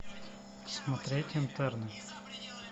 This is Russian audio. смотреть интерны